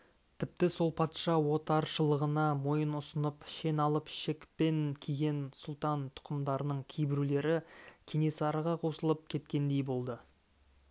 тіпті сол патша отаршылығына мойын ұсынып шен алып шекпен киген сұлтан тұқымдарының кейбіреулері кенесарыға қосылып кеткендей болды